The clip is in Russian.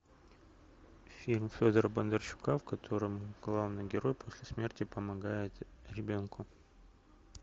фильм федора бондарчука в котором главный герой после смерти помогает ребенку